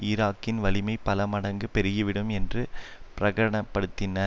ஈராக்கின் வலிமை பல மடங்கு பெருகிவிடும் என்று பிரகடப்படுத்தினார்